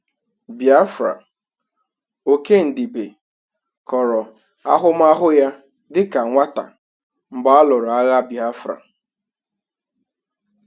Biafra: Okey Ndibe kọrọ ahụmahụ ya dịka nwata mgbe a lụrụ agha Biafra.